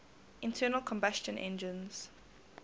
internal combustion engines